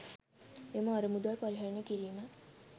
එම අරමුදල් පරිහරණය කිරීම